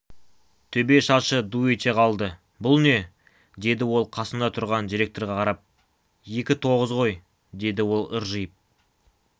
төбе шашы ду ете қалды бұл не деді ол қасында тұрған директорға қарап екі тоғыз ғой деді ол ыржиып